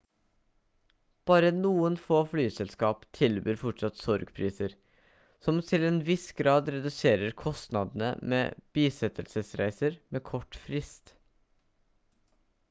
bare noen få flyselskap tilbyr fortsatt sorgpriser som til en viss grad reduserer kostnadene med bisettelsesreiser med kort frist